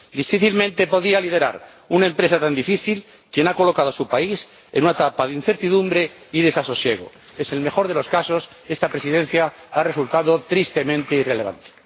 Difícilmente podría liderar una empresa tan difícil quien ha colocado a su país en una etapa de incertidumbre y desasosiego. En el mejor de los casos, esta Presidencia ha resultado tristemente irrelevante.